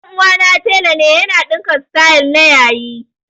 Ɗan uwana tela ne ya na ɗinka sityl na yayi